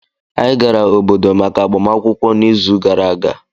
anyị gara obodo maka agbamakwụkwọ n'izu gara aga